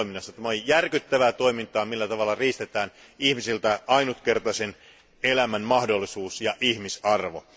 Tämä on järkyttävää toimintaa, jolla riistetään ihmisiltä ainutkertaisen elämän mahdollisuus ja ihmisarvo.